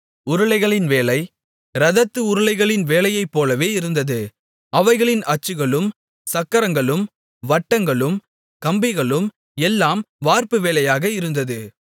உருளைகளின் வேலை இரதத்து உருளைகளின் வேலையைப் போலவே இருந்தது அவைகளின் அச்சுகளும் சக்கரங்களும் வட்டங்களும் கம்பிகளும் எல்லாம் வார்ப்பு வேலையாக இருந்தது